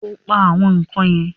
O pa “àwọn ikán" yẹn?